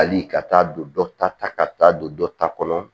Hali ka taa don dɔ ta ta ka taa don dɔ ta kɔnɔ